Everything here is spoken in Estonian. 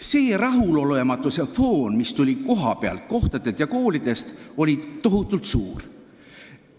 See rahulolematuse foon, mis tuli kohapealt, koolidest, oli tohutult suur.